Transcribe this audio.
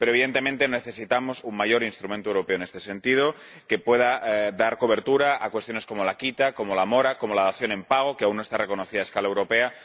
Evidentemente, necesitamos un instrumento europeo de mayor alcance en este sentido, que pueda dar cobertura a cuestiones como la quita, como la mora, como la dación en pago —que aún no está reconocida a escala europea—.